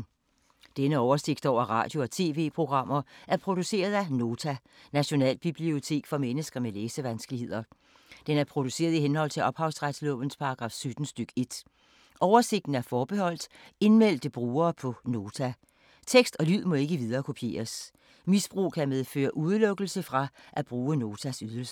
Denne oversigt over radio og TV-programmer er produceret af Nota, Nationalbibliotek for mennesker med læsevanskeligheder. Den er produceret i henhold til ophavsretslovens paragraf 17 stk. 1. Oversigten er forbeholdt indmeldte brugere på Nota. Tekst og lyd må ikke viderekopieres. Misbrug kan medføre udelukkelse fra at bruge Notas ydelser.